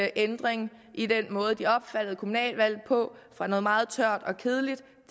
ændring i den måde eleverne opfattede kommunalvalget på fra noget meget tørt og kedeligt